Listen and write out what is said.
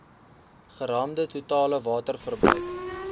geraamde totale waterverbruik